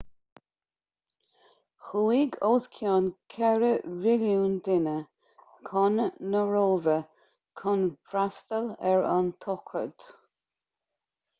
chuaigh os cionn ceithre mhilliún duine chun na róimhe chun freastal ar an tsochraid